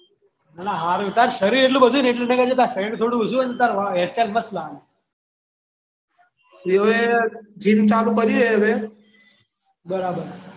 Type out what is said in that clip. હારુ તારું શરીર એટલું બધું થઈ ગયું છે ને તારું શરીર થોડું ઓછું હોય તો તાર વાળ હેર સ્ટાઈલ મસ્ત લાગે હવે જેમ ચાલુ કર્યું હે હવે બરાબર